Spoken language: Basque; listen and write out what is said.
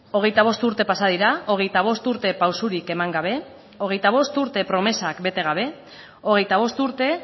hogeita bost urte pasa dira hogeita bost urte pausurik eman gabe hogeita bost urte promesak bete gabe hogeita bost urte